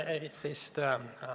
Aitäh!